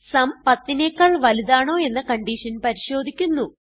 സും 10നെക്കാൾ വലുതാണോ എന്ന കൺഡിഷൻ പരിശോധിക്കുന്നു